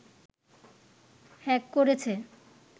hack করেছে